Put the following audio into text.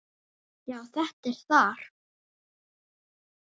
Já, þetta er þar